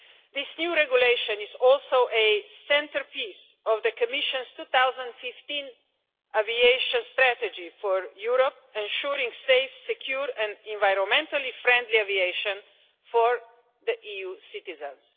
This new regulation is also a centrepiece of the Commission's 2015 aviation strategy for Europe, ensuring safe, secure and environmentally friendly aviation for EU citizens.